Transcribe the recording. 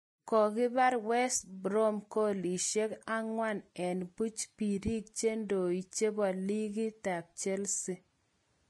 Kokibir West Brom goalishek 4 eng buch biirik cheidoe chebo ligi Chelsea